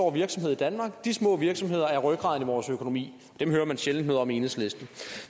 år virksomhed i danmark og de små virksomheder er rygraden i vores økonomi dem hører man sjældent noget om i enhedslisten